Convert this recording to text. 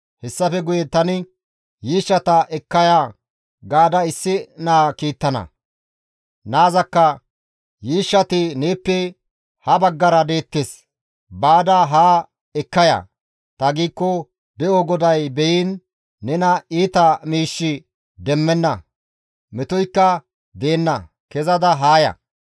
Hessafe guye tani, ‹Yiishshata ekka ya› gaada issi naa kiittana. Naazakka, ‹Yiishshati neeppe ha baggara deettes; baada haa ekka ya› ta giikko De7o GODAY beyiin! Nena iita miishshi demmenna; metoykka deenna; kezada haa ya.